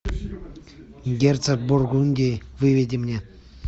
герцог бургундии выведи мне